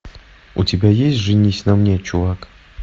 у тебя есть женись на мне чувак